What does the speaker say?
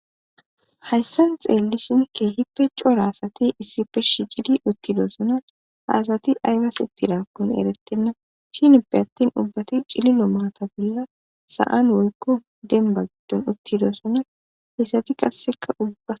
hayssan xeeli sunke hippe cora asati issi pirshi gidi uttidoosona haasati aybas ittidaakkun eretenna shin ippe attin ubbati cililo maata bolla sa7an woykko demba giddon uttidoosona isati qasseka ubba